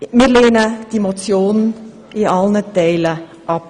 Wir lehnen die Motion in allen Teilen ab.